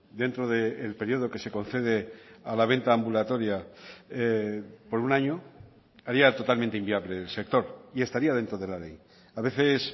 dentro del periodo que se concede a la venta ambulatoria por un año haría totalmente inviable el sector y estaría dentro de la ley a veces